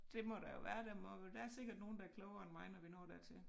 Det må der jo være der må der er sikkert nogen der er klogere end mig når vi når dertil